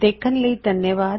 ਦੇਖਣ ਲਈ ਧੰਨਵਾਦ